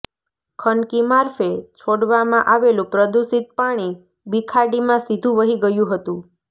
ખનકી મારફે છોડવામાં આવેલું પ્રદૂષિત પાણી બીખાડીમાં સીધુ વહી ગયું હતું